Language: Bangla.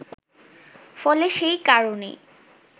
ফলে সে-কারণেই